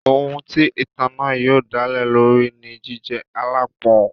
Ohun tí ìtàn náà yóò dálé lórí ni jíjẹ́ aláápọn.